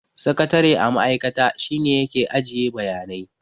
Sakatare a ma'aikata, shi ne ya ke ajiye bayanai.